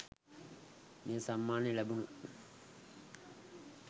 මේ සම්මානය ලැබුන